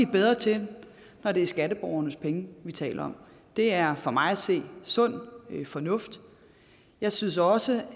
bedre til når det er skatteborgernes penge vi taler om det er for mig at se sund fornuft jeg synes også